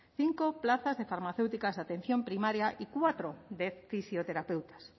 cinco plazas de farmacéuticas de atención primaria y cuatro de fisioterapeutas